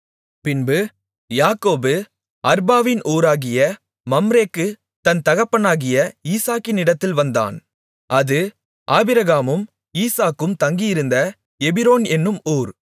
பின்பு யாக்கோபு அர்பாவின் ஊராகிய மம்ரேக்கு தன் தகப்பனாகிய ஈசாக்கினிடத்தில் வந்தான் அது ஆபிரகாமும் ஈசாக்கும் தங்கியிருந்த எபிரோன் என்னும் ஊர்